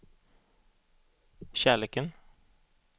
kärleken